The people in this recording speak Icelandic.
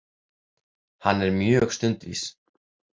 Hann er mjög stundvís.